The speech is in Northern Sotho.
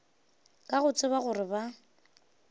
ka go tseba gore ba